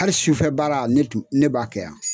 Hali sufɛ baara ne b'a kɛ yan